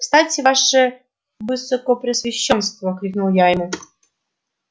кстати ваше высокопреосвящёнство крикнул я ему